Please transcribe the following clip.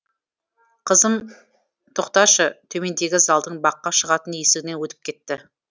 қызым тоқташы төмендегі залдың баққа шығатын есігінен өтіп кетті